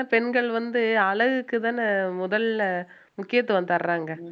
பெண்கள் வந்து அழகுக்குதான முதல்ல முக்கியத்துவம் தறாங்க